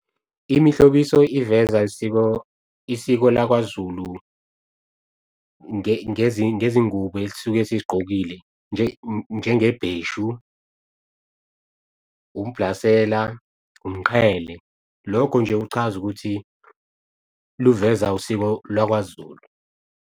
Imihlobiso iveza isiko lakwaZulu, ngezingubo elisuke sizigqokile njenge bheshu, umbhlasela, umqhele lokho nje kuchaza ukuthi luveza usiko lakwaZulu.